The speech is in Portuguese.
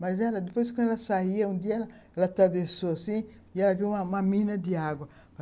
Mas ela, depois, que ela saía, um dia ela atravessou assim e ela viu uma mina de água.